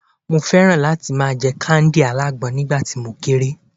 mo fẹràn láti ma je kándì alágbọn nígbà tí mo kere